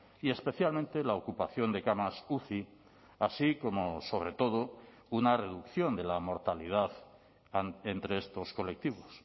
y especialmente la ocupación de camas uci así como sobre todo una reducción de la mortalidad entre estos colectivos